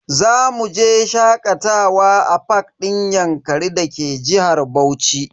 Zamu je shakatawa a fak din yankari da ke jihar Bauchi.